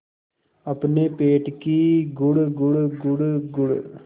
अपने पेट की गुड़गुड़ गुड़गुड़